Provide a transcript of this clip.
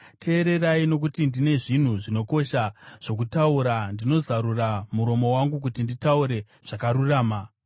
Teererai, nokuti ndine zvinhu zvinokosha zvokutaura; ndinozarura muromo wangu kuti nditaure zvakarurama.